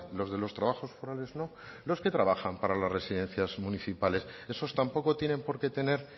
los de los trabajos forales no los que trabajan para las residencias municipales esos tampoco tienen por qué tener